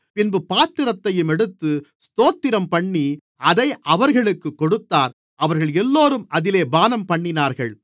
பின்பு பாத்திரத்தையும் எடுத்து ஸ்தோத்திரம்பண்ணி அதை அவர்களுக்குக் கொடுத்தார் அவர்களெல்லோரும் அதிலே பானம்பண்ணினார்கள்